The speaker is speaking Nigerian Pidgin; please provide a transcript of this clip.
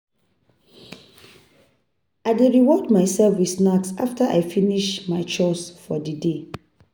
I dey reward myself with snack after I finish my chores for di day.